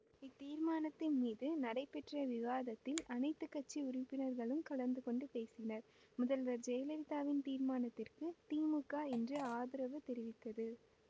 இத்தீர்மானத்தின் மீது நடைபெற்ற விவாதத்தில் அனைத்து கட்சி உறுப்பினர்களும் கலந்துகொண்டு பேசினர் முதல்வர் ஜெயலலிதாவின் தீர்மானத்திற்கு திமுக இன்று ஆதரவு தெரிவித்தது